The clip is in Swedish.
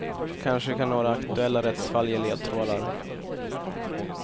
Kanske kan några aktuella rättsfall ge ledtrådar.